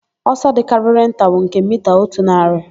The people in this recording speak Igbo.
Ọsọ dịkarịrị nta bụ nke mita otu narị,